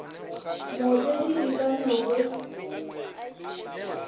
mootledi e ka no be